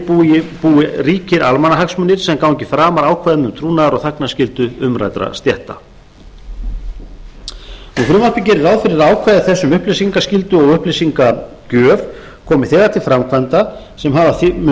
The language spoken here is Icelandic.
búi ríkir almannahagsmunir sem gangi framar ákvæðum um trúnaðar og þagnarskyldu umræddra stétta frumvarpið gerir ráð fyrir að ákvæði þess um upplýsingaskyldu og upplýsingagjöf komi þegar til framkvæmda sem hafa mun